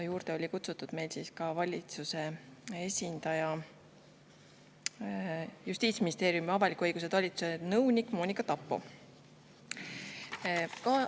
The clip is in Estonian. oli kutsutud ka valitsuse esindaja, Justiitsministeeriumi avaliku õiguse talituse nõunik Monika Tappo.